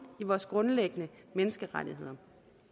i vores grundlæggende menneskerettigheder